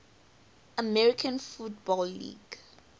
american football league